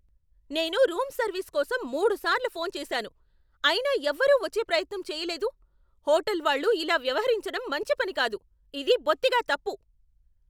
నేను room service కోసం మూడుసార్లు ఫోన్ చేశాను, అయినా ఎవరూ వచ్చే ప్రయత్నం చేయలేదు! హోటల్ వాళ్ళు ఇలా వ్యవహరించడం మంచి పని కాదు. ఇది బొత్తిగా తప్పు!